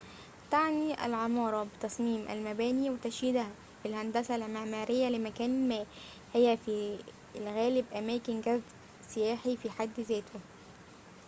تعنى العمارة بتصميم المباني وتشييدها فالهندسة المعمارية لمكان ما هي في الغالب أماكن جذب سياحي في حد ذاته